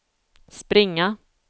springa